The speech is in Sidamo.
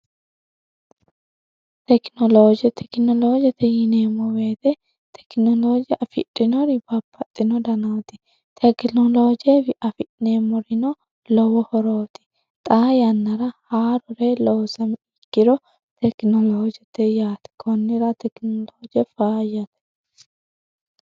tekinolooje tekinoloojete yineemmo beete tekinolooje afidhinori bapaxxino danaati tekinoloojeefi afi'neemmorino lowo horooti xa yannara haarure loosami ikiro tekinolooje te yaati kunnira tekinolooje faayyate